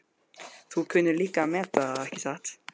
Þú kunnir líka að meta það, ekki satt?